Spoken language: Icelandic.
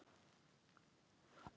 Lendir með augun á vinkonunni.